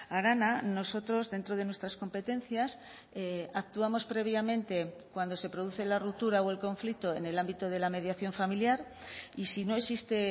arana nosotros dentro de nuestras competencias actuamos previamente cuando se produce la ruptura o el conflicto en el ámbito de la mediación familiar y si no existe